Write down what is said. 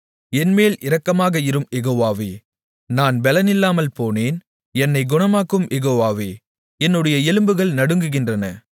என்மேல் இரக்கமாக இரும் யெகோவாவே நான் பெலனில்லாமல் போனேன் என்னைக் குணமாக்கும் யெகோவாவே என்னுடைய எலும்புகள் நடுங்குகின்றன